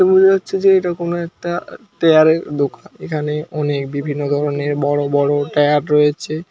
তে মনে হচ্ছে যে এটা কোন একটা টায়ারের দোকান এখানে অনেক বিভিন্ন ধরনের বড় বড় টায়ার রয়েছে।